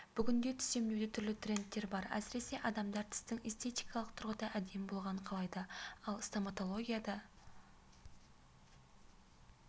бүгінде тіс емдеуде түрлі трендтер бар әсіресе адамдар тістің эстетикалық тұрғыда әдемі болғанын қалайды ал стоматологиядағы